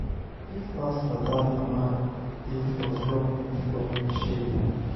if not for dat mama dey for flog me flog me shege